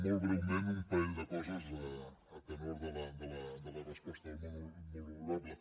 molt breument un parell de coses a tenor de la resposta del molt honorable